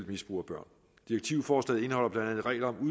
misbrug af børn direktivforslaget indeholder blandt andet regler om